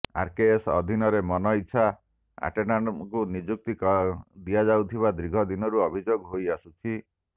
RKS ଅଧୀନରେ ମନଇଚ୍ଛା ଆଟେଣ୍ଡାଣ୍ଟଙ୍କୁ ନିଯୁକ୍ତି ଦିଆଯାଉଥିବା ଦୀର୍ଘ ଦିନରୁ ଅଭିଯୋଗ ହୋଇଆସୁଛି